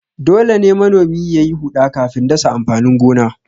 Dole ne manomi ya yi huɗa kafin dasa amfanin gona.